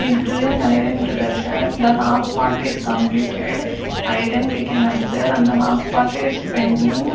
his doing iron to the shirt the half part is completed iron we can observe and the half part is pending.